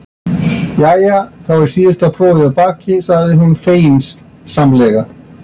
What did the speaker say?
Jæja, þá er síðasta prófið að baki, segir hún feginsamlega.